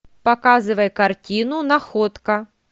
показывай картину находка